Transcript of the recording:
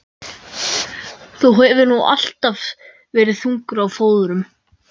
Þú hefur nú alltaf verið þungur á fóðrum.